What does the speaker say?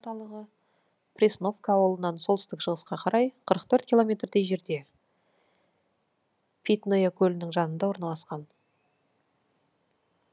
аудан орталығы пресновка ауылынан солтүстік шығысқа қарай қырық төрт километрдей жерде питное көлінің жанында орналасқан